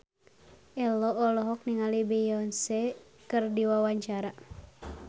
Ello olohok ningali Beyonce keur diwawancara